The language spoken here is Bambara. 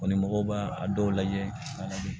mɔgɔw b'a a dɔw lajɛ